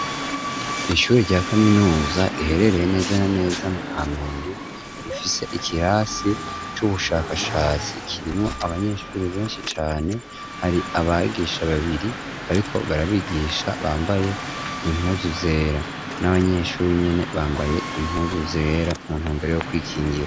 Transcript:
Ishuri rya kaminuza riherereye neza na neza mu Kamenge, rifise ikirasi c'ubushakashatsi kirimwo abanyeshuri benshi cane. Hari abigisha babiri bariko barabigisha bambaye impuzu zera, n'abanyeshuri nyene bambaye impuzu zera, muntumbero yo kwikingira.